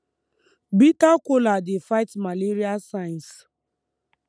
bitter kola dey fight malaria signs